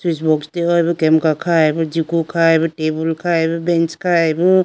switch box dehoyi bo kemka khayi bo jigu khayi tabool khayi bo bench khayi bo.